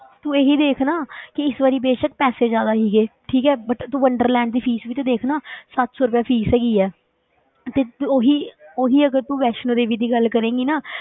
ਤੂੰ ਇਹੀ ਦੇਖ ਨਾ ਕਿ ਇਸ ਵਾਰੀ ਬੇਸ਼ਕ ਪੈਸੇ ਜ਼ਿਆਦਾ ਸੀਗੇ ਠੀਕ ਹੈ but ਤੂੰ ਵੰਡਰਲੈਂਡ ਦੀ fees ਵੀ ਤੇ ਦੇਖ ਨਾ ਸੱਤ ਸੌ ਰੁਪਇਆ fees ਹੈਗੀ ਹੈ ਤੇ ਉਹੀ ਉਹੀ ਅਗਰ ਤੂੰ ਵੈਸ਼ਨੋ ਦੇਵੀ ਦੀ ਗੱਲ ਕਰੇਂਗੀ ਨਾ,